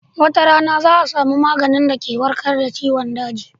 Wata rana za a samu maganin da ke warkad da ciwon daji